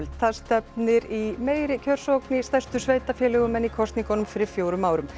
það stefnir í meiri kjörsókn í stærstu sveitarfélögunum en í kosningunum fyrir fjórum árum